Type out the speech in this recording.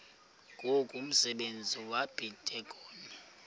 ngoku umsebenzi wabadikoni